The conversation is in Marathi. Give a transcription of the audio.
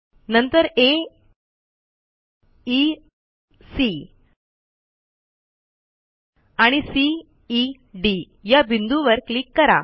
नंतर aeसी आणि ceडी या बिंदूवर क्लिक करा